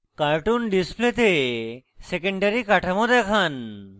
cartoon ডিসপ্লেতে secondary কাঠামো দেখান